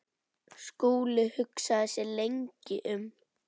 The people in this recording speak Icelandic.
Skúli hugsaði sig lengi um.